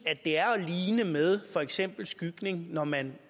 det er at ligne med for eksempel skygning når man